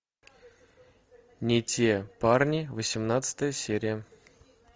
не те парни восемнадцатая серия